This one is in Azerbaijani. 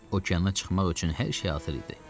Okeana çıxmaq üçün hər şey hazır idi.